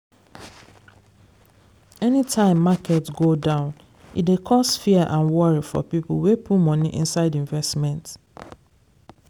anytime market go down e dey cause fear and worry for people wey put money inside investment.